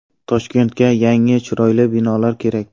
Toshkentga yangi, chiroyli binolar kerak.